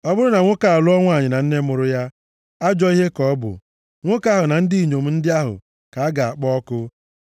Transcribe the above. “ ‘Ọ bụrụ na nwoke alụọ nwanyị na nne mụrụ ya, ajọ ihe ka ọ bụ. Nwoke ahụ na ndị inyom ndị ahụ ka a ga-akpọ ọkụ,